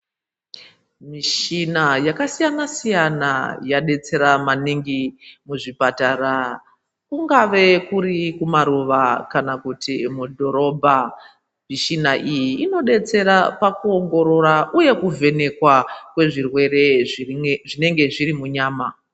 Michina yakasiyana-siyana yabetsera maningi muzvipatara kungave kuri kumaruva kana kuti mudhorobha. Mishina iyi inobetsera pakuongorora, uye kuvhenekwa kwezvirwere zvinenge zviri munyama.